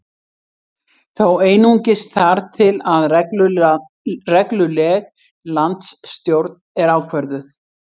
Þó einungis þar til að regluleg landsstjórn er ákvörðuð